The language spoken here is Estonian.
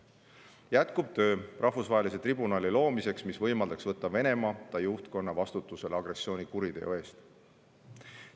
Jätkub töö rahvusvahelise tribunali loomiseks, mis võimaldaks võtta Venemaa ja ta juhtkonna vastutusele agressioonikuriteo eest.